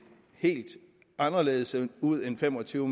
helt anderledes ud end fem og tyve